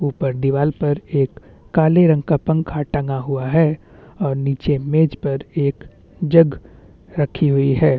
ऊपर दीवार पर एक काले रंग का पंखा टंगा हुआ है और नीचे मेज पर एक जग रखी हुई है।